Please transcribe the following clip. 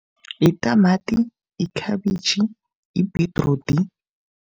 Yitamati, ikhabitjhi, ibhidrudi.